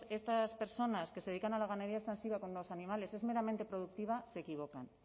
estas personas que se dedican a la ganadería extensiva con los animales es meramente productiva se equivocan